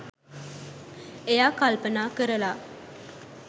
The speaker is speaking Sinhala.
එයා කල්පනා කරල